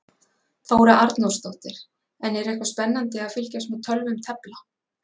Þóra Arnórsdóttir: En er eitthvað spennandi að fylgjast með tölvum tefla?